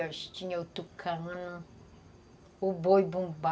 Acho que tinha o tucanã, o boi-bumbá,